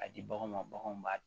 A di baganw ma baganw b'a